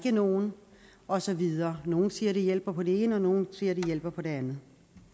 er nogen og så videre nogle siger det hjælper på det ene og nogle siger det hjælper på det andet